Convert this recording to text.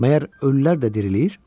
Məyər ölülər də dirilir?